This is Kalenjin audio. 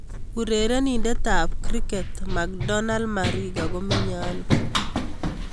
Urerenindet ab kriket macdonald mariga ko menyee ano